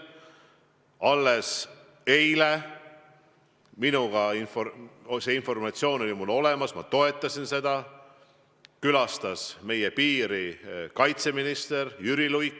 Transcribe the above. Alles eile – see informatsioon oli mul olemas, ma toetasin seda – külastas meie piiri kaitseminister Jüri Luik.